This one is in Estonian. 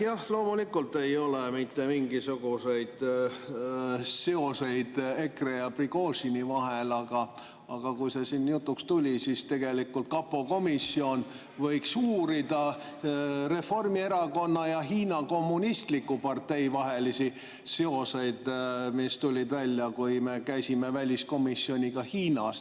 Jah, loomulikult ei ole mitte mingisuguseid seoseid EKRE ja Prigožini vahel, aga kuna see siin jutuks tuli, siis tegelikult kapo komisjon võiks uurida Reformierakonna ja Hiina Kommunistliku Partei vahelisi seoseid, mis tulid välja, kui me käisime väliskomisjoniga Hiinas.